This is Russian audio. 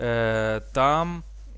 там